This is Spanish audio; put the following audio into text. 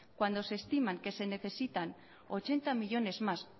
cuando se estiman que se necesitan ochenta millónes más